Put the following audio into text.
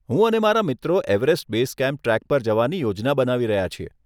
હું અને મારા મિત્રો એવરેસ્ટ બેઝ કેમ્પ ટ્રેક પર જવાની યોજના બનાવી રહ્યા છીએ.